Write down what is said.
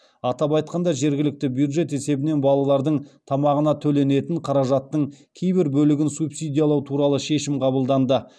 атап айтқанда жергілікті бюджет есебінен балалардың тамағына төленетін қаражаттың кейбір бөлігін субсидиялау туралы шешім қабылданды